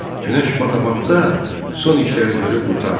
Günəş batabatda son işləri görüb qurtardılar.